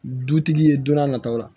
Dutigi ye don n'a nataw la